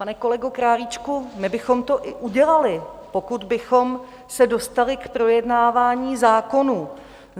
Pane kolego Králíčku, my bychom to i udělali, pokud bychom se dostali k projednávání zákonů.